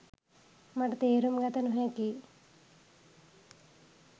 මට තේරුම් ගත නොහැකියි